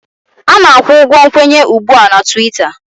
A na-akwụ ụgwọ nkwenye ugbu a na Twiita